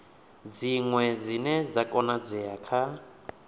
dziṅwe dzine dza konadzea kha